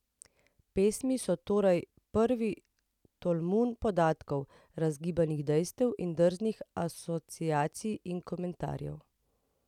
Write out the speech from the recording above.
Pesmi so torej pravi tolmun podatkov, razgibanih dejstev in drznih asociacij in komentarjev.